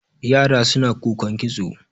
yara suna kukan kitso